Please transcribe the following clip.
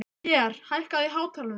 Lér, lækkaðu í hátalaranum.